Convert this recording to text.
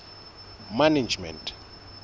management